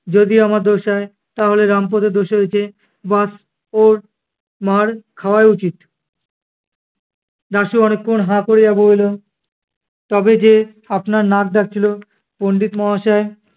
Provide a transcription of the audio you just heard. যদি আমার দোষ হয় তাহলে রামপদেরও দোষ হয়েছে ব্যস ওর মার্ খাওয়াই উচিত। দাশু অনেক ক্ষণ হা করিয়া বলিল, তবে যে আপনার নাক ডাকছিলো। পণ্ডিত মহাশয়